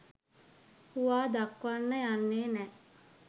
හුවා දක්වන්න යන්නේ නෑ.